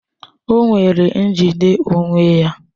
O nwere njide onwe ya